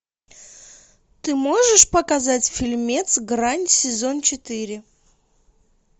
ты можешь показать фильмец грань сезон четыре